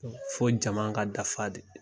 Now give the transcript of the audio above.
Fo jama ka dafa de.